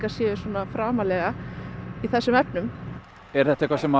séu svona framarlega í þessum efnum er þetta eitthvað sem